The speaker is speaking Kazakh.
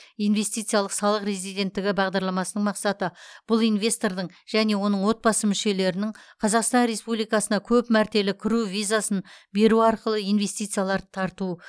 инвестициялық салық резиденттігі бағдарламасының мақсаты бұл инвестордың және оның отбасы мүшелерінің қазақстан республикасына көп мәртелі кіру визасын беру арқылы инвестицияларды тарту